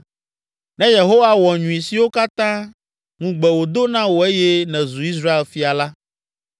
Ne Yehowa wɔ nyui siwo katã ŋugbe wòdo na wò eye nèzu Israel Fia la,